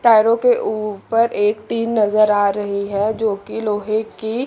टायरों के ऊपर एक टीन नजर आ रही है जो कि लोहे की--